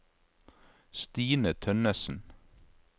Stine Tønnessen